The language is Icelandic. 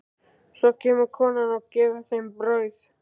Svo kemur konan og gefur þeim brauð.